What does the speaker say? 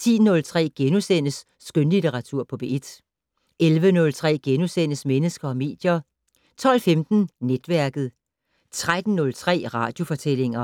10:03: Skønlitteratur på P1 * 11:03: Mennesker og medier * 12:15: Netværket 13:03: Radiofortællinger